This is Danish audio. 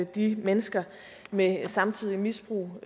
de mennesker med samtidigt misbrug